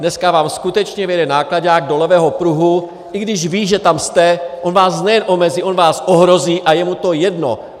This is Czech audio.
Dneska vám skutečně vjede náklaďák do levého pruhu, i když ví, že tam jste, on vás nejen omezí, on vás ohrozí a je mu to jedno.